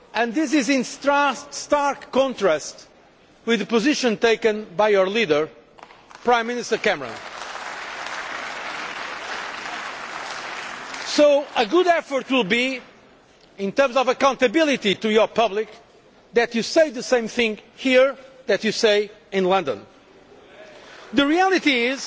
This is in stark contrast to the position taken by your leader, Prime Minister Cameron. It would be good in terms of accountability to your public for you to say the same thing here that you say in London. The reality